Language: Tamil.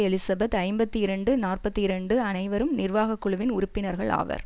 எலிசபெத் ஐம்பத்தி இரண்டு நாற்பத்தி இரண்டு அனைவரும் நிர்வாக குழுவின் உறுப்பினர்கள் ஆவர்